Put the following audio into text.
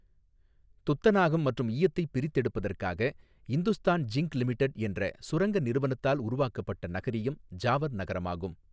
துத்தநாகம் மற்றும் ஈயத்தைப் பிரித்தெடுப்பதற்காக இந்துஸ்தான் ஜிங்க் லிமிடட் என்ற சுரங்க நிறுவனத்தால் உருவாக்கப்பட்ட நகரியம் ஜாவர் நகரமாகும்.